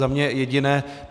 Za mne jediné.